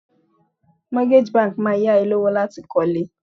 Mortgage banks Máa yá ẹ lówó láti kọ́ lé.